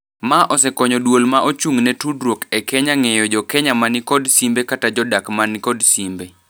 Ma osekonyo duol ma ochung'ne tudruok e Kenya ng'eyo jokenya mani kod simbe kata jodak mani kod simbe.